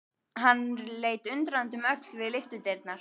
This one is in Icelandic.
Hann leit undrandi um öxl við lyftudyrnar.